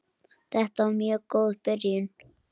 Þetta var mjög góð byrjun.